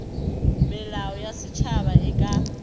melao ya setšhaba e ka